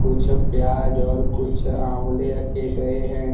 कुछ प्याज और कुछ आंवले रखे गए हैं।